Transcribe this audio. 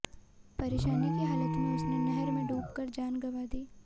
परेशानी की हालत में उसने नहर में डूब कर जान गवां दी